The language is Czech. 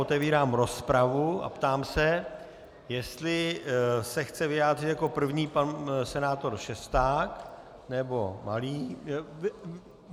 Otevírám rozpravu a ptám se, jestli se chce vyjádřit jako první pan senátor Šesták nebo Malý.